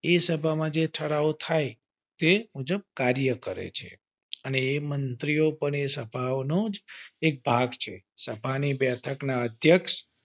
એ સભામાં જે ઠરાવ થાય તે મુજબ કાર્ય કરે છે અને એ મંત્રીઓ પણ તે સભાઓનો જ એક ભાગ છે. સભાની બબેઠક ના અધ્યક્ષ.